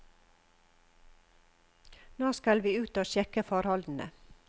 Nå skal vi ut og sjekke forholdene.